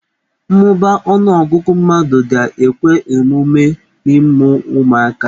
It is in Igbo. Mmụba ọnụọgụgụ mmadụ ga-ekwe omume n'ịmụ ụmụaka.